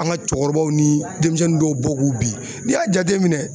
An ka cɛkɔrɔbaw ni denmisɛnnin dɔw bɔ k'u bin n'i y'a jateminɛ.